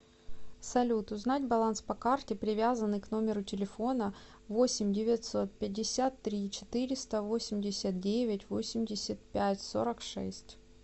салют узнать баланс по карте привязанной к номеру телефона восемь девятьсот пятьдесят три четыреста восемьдесят девять восемьдесят пять сорок шесть